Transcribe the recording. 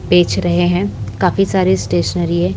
बेच रहे हैं काफी सारी स्टेशनरी है।